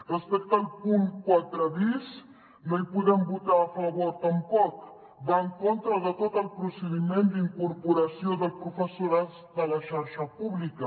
respecte al punt quatre bis no hi podem votar a favor tampoc va en contra de tot el procediment d’incorporació del professorat de la xarxa pública